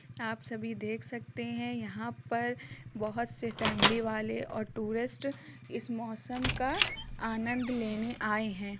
आप सभी देख सकते हैं यहाँ पर बोहोत से फैमिली वाले और टूरिस्ट इस मोसम का आनंद लेने आए हैं।